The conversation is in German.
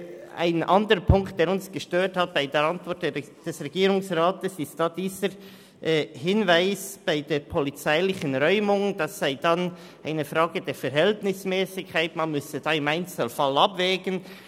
Ein weiterer Punkt, der uns an der Antwort des Regierungsrates gestört hat, ist der Hinweis darauf, dass es sich bei einer polizeilichen Räumung um eine Frage der Verhältnismässigkeit handle, und deshalb müsse man im einzelnen Fall abwägen.